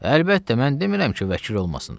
Əlbəttə, mən demirəm ki, vəkil olmasın.